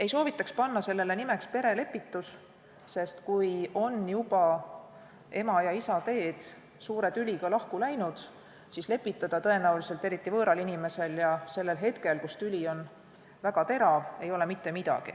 Ei soovitaks panna sellele nimeks perelepitus, sest kui ema ja isa teed on juba suure tüliga lahku läinud, siis võõral inimesel pole teravat tüli tõenäoliselt enam võimalik lepitada.